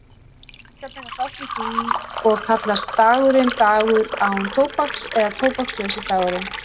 Íslendingar taka þátt í því og kallast dagurinn dagur án tóbaks eða tóbakslausi dagurinn.